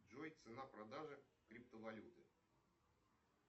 джой цена продажи криптовалюты